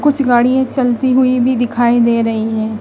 कुछ गाड़ियां चलती हुई भी दिखाई दे रही हैं।